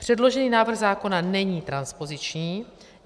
Předložený návrh zákona není transpoziční.